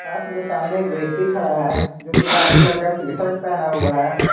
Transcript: पास मे सामने एक व्यक्ति खड़ा है जो की वाइट कलर का टी शर्ट पहना हुआ है।